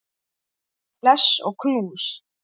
Bless og knús.